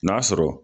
N'a sɔrɔ